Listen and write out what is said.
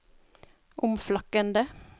omflakkende